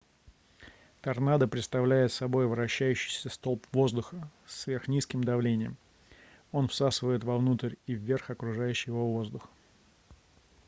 торнадо представляет собой вращающийся столб воздуха с сверхнизким давлением он всасывает вовнутрь и вверх окружающий его воздух